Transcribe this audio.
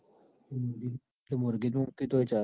તો માર્ગેજ મૂકીએ તોયે ચાલ.